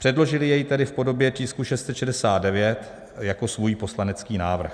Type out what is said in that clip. Předložili jej tedy v podobě tisku 669 jako svůj poslanecký návrh.